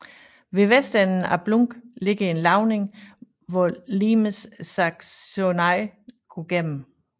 Ved vestenden af Blunk ligger en lavning hvor Limes Saxoniae går gennem